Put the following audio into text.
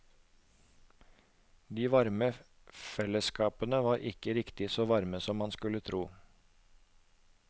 De varme fellesskapene var ikke riktig så varme som man kunne tro.